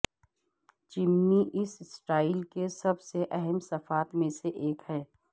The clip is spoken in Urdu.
چمنی اس سٹائل کے سب سے اہم صفات میں سے ایک ہے